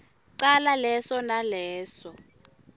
cala leso naleso